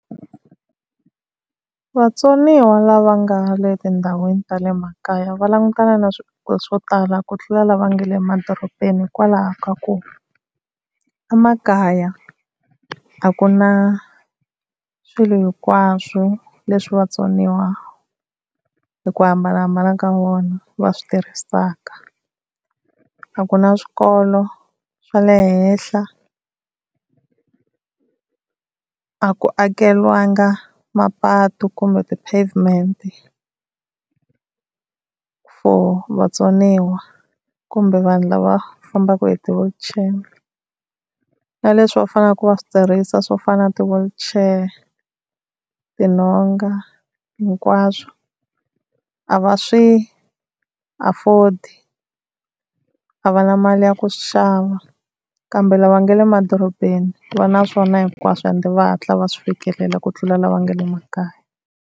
Vatsoniwa lava nga le tindhawini ta le makaya va langutana na swiphiqo swo tala ku tlula lava nga le emadorobeni, hikwalaho ka ku emakaya a ku na swilo hinkwaswo leswi vatsoniwa hi ku hambanahambana ka vona va swi tirhisaka. A ku na swikolo swa le henhla, a ku akeriwanga mapatu kumbe ti-pavement-i for vatsoniwa kumbe vanhu lava fambaka hi ti-wheelchair. Na leswi va faneleke va swi tirhisiwa swo fana na ti -wheelchair, tinhonga hinkwaswo a va swi afford, a va na mali ya ku swi xava. Kambe lava nga le madorobeni va na swona hinkwaswo ende va hatla va swi fikelela ku tlula lava nga le makaya.